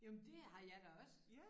Jo men det har jeg da også